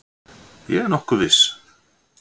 Ég er nokkuð viss.